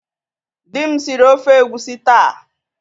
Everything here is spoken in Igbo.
Di m siri ofe egwusi taa.